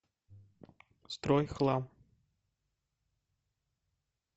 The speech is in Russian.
стройхлам